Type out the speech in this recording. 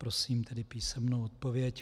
Prosím tedy písemnou odpověď.